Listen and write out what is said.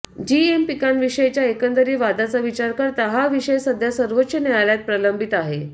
GM पिकांविषयीच्या एकंदरीत वादाचा विचार करता हा विषय सध्या सर्वोच्च न्यायालयात प्रलंबित आहे